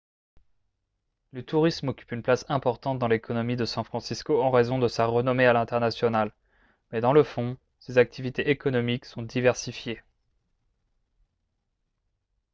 le tourisme occupe une place importante dans l'économie de san francisco en raison de sa renommée à l'international mais dans le fond ses activités économiques sont diversifiées